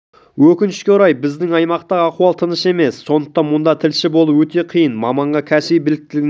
өкінішке орай біздің аймақтағы ахуал тыныш емес сондықтан мұнда тілші болу өте қиын маманға кәсіби біліктілігінен